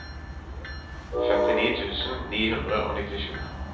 femtini tusen ni hundre og nittisju